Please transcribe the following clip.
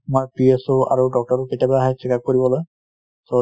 তাত তোমাৰ PSOInitial আৰু doctor ও কেতিয়াবা আহে checkup কৰিবলৈ |